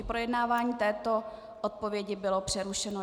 I projednávání této odpovědi bylo přerušeno.